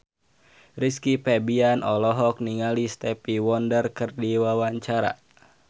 Rizky Febian olohok ningali Stevie Wonder keur diwawancara